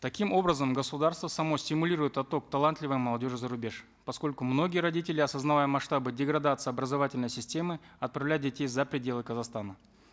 таким образом государство само стимулирует отток талантливой молодежи зарубеж поскольку многие родители осознавая масштабы деградации образовательной системы отправляют детей за пределы казахстана